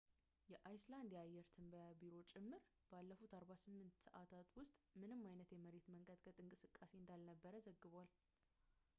የአይስላንድ የአየር ትንበያ ቢሮ ጭምር ባለፉት 48 ሰዐታት ውስጥ ምንም አይነት የመሬት መንቀጥቀጥ እንቅስቃሴ እንዳልነበር ዘግቧል